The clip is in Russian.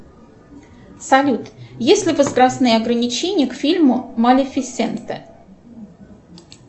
салют есть ли возрастные ограничения к фильму малифисента